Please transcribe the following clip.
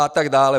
A tak dále.